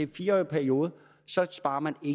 fire årig periode sparer man i